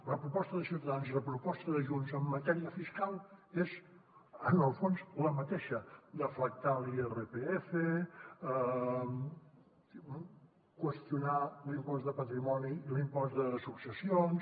la proposta de ciutadans i la proposta de junts en matèria fiscal són en el fons la mateixa deflactar l’irpf qüestionar l’impost de patrimoni i l’impost de successions